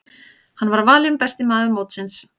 Hann var valinn besti maður mótsins.